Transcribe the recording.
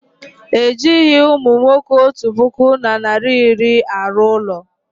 Ejighị umunwoke otu puku na narị iri arụ ụlọ